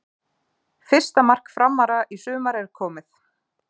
Fyrsta mark Framara í sumar er komið.